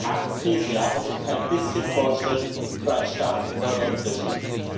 Acht Krisenjahre und kein bisschen Fortschritt für ein Staatsinsolvenzregime.